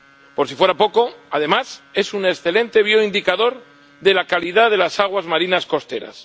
Por si fuera poco, además, es un excelente bioindicador de la calidad de las aguas marinas costeras.